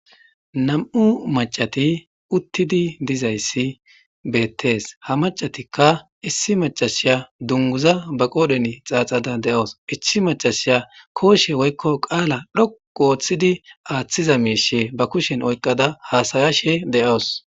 Nam'u mac'ati uththidi dizzayissi bettes ha mac'atikka issi mac'asiya dunguza ba qodhdhen xaxadda de'awus issi mac'asiya qoshe woyikko qalla xoqu oththidi aththiza mishsha ba kushshen oyikada hasa'ashen de'awus.